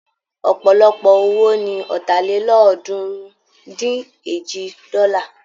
Ọ̀pọ̀lọpọ̀ owó ni Ọ̀tàlélọ́ọ̀ọ́dúnrún-dín-èjì dọ́là.